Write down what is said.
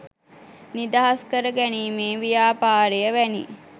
නිදහස් කර ගැනීමේ ව්‍යාපාරය වැනි